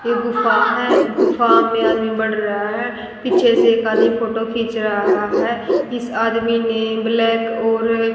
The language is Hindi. ये गुफ़ा है गुफ़ा में आदमी बढ़ रहा है पीछे से एक आदमी फोटो खिंच रहा है इस आदमी ने ब्लैक और--